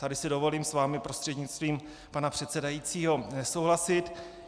Tady si dovolím s vámi prostřednictvím pana předsedajícího nesouhlasit.